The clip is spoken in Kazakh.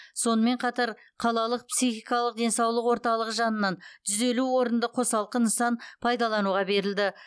сонымен қатар қалалық психикалық денсаулық орталығы жанынан жүз елу орынды қосалқы нысан пайдалануға берілді